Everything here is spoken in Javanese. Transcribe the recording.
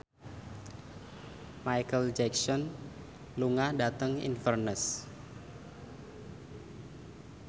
Micheal Jackson lunga dhateng Inverness